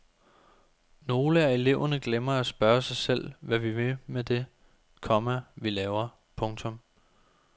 Nogle af eleverne glemmer at spørge sig selv hvad vi vil med det, komma vi laver. punktum